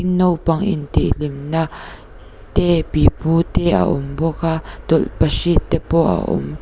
naupang intih hlim na te pipu te a awm bawk a tawlhpahrit te pawh a awm--